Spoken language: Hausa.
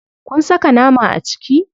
Kun saka nama a ciki?